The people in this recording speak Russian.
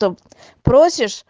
том просишь